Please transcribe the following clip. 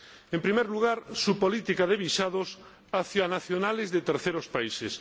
En primer lugar, su política de visados respecto de nacionales de terceros países.